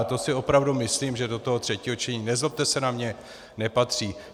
A to si opravdu myslím, že do toho třetího čtení, nezlobte se na mě, nepatří.